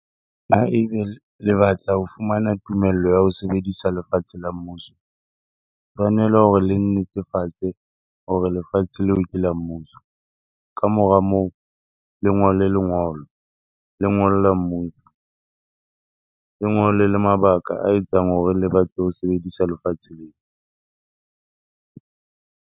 Ha ebe le batla ho fumana tumello ya ho sebedisa lefatshe la mmuso, tshwanela hore le nnetefatse hore lefatshe leo ke la mmuso. Ka mora moo le ngole lengolo, le ngolla mmuso. Le ngole le mabaka a etsang hore le batle ho sebedisa lefatshe leo.